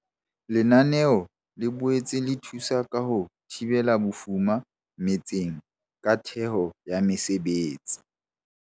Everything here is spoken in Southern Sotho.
Lenaneo le boetse le thusa ka ho thibela bofuma metseng ka theho ya mesebetsi.